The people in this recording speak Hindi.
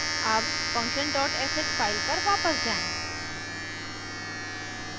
अब function dot sh file पर वापस जाएँ